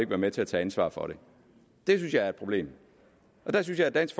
være med til at tage ansvar for det det synes jeg er et problem jeg synes at dansk